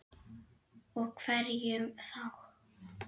Og hverjum þá?